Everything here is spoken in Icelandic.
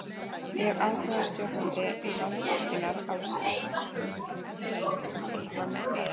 En hefur áhugi stjórnenda Landsvirkjunar á sæstreng eitthvað minnkað?